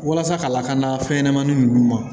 Walasa ka lakana fɛnɲɛnɛmanin ninnu ma